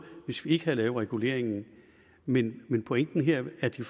hvis vi ikke havde lavet reguleringen men men pointen her er at de